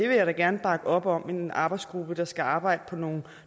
vil da gerne bakke op om en arbejdsgruppe der skal arbejde på nogle